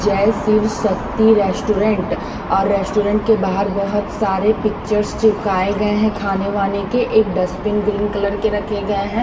जय शिव शक्ति रेस्टोरेंट और रेस्टोरेंट के बाहर बहुत सारे पिक्चर्स चिपकाए गए हैं खाने वाने के एक डस्टपिन ग्रीन कलर के रखे गए हैं।